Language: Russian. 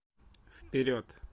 вперед